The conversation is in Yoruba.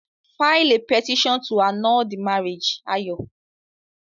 File a petition to annul the marriage, Ayo.